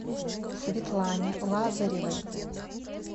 светлане лазаревой